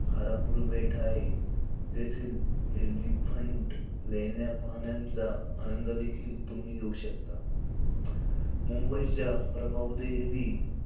घारापुरी बेट हाये. तेथील एलिफंट लेण्या पाहाण्याचा आनंद देखील तुम्ही घेउ शकता. मुंबईच्या प्रभावदेवी,